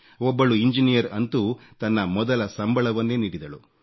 ಒಬ್ಬಳು ಇಂಜಿನಿಯರ್ ಅಂತೂ ತನ್ನ ಮೊದಲ ಸಂಬಳವನ್ನೇ ನೀಡಿದಳು